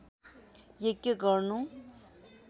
यज्ञ गर्नु